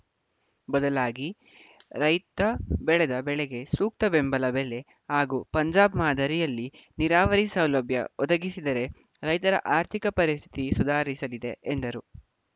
ಬದಲಾಗಿ ರೈತ ಬೆಳೆದ ಬೆಳೆಗೆ ಸೂಕ್ತ ಬೆಂಬಲ ಬೆಲೆ ಹಾಗೂ ಪಂಜಾಬ್‌ ಮಾದರಿಯಲ್ಲಿ ನೀರಾವರಿ ಸೌಲಭ್ಯ ಒದಗಿಸಿದರೆ ರೈತರ ಆರ್ಥಿಕ ಪರಿಸ್ಥಿತಿ ಸುಧಾರಿಸಲಿದೆ ಎಂದರು